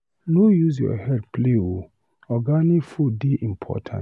No use your healt play o, organic food dey important.